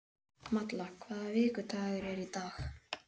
Malla, hvaða vikudagur er í dag?